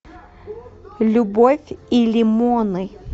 любовь и лимоны